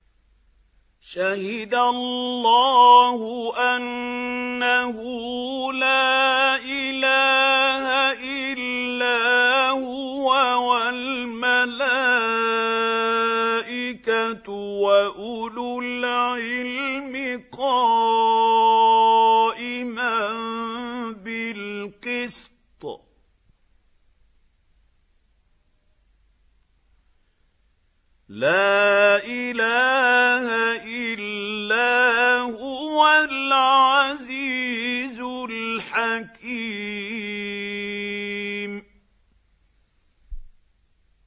شَهِدَ اللَّهُ أَنَّهُ لَا إِلَٰهَ إِلَّا هُوَ وَالْمَلَائِكَةُ وَأُولُو الْعِلْمِ قَائِمًا بِالْقِسْطِ ۚ لَا إِلَٰهَ إِلَّا هُوَ الْعَزِيزُ الْحَكِيمُ